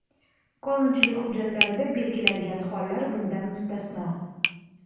qonunchilik hujjatlarida belgilangan hollar bundan mustasno;.